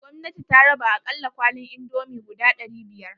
Gwamnati ta raba akalla kwalin indomie guda ɗari biyar.